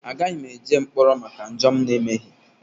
Agaghị m eje mkpọrọ maka njọ m emeghị.